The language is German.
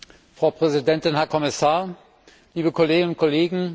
Frau Präsidentin, Herr Kommissar, liebe Kolleginnen und Kollegen!